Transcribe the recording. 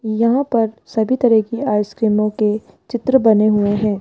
यहां पर सभी तरह की आइसक्रीमो के चित्र बने हुए हैं।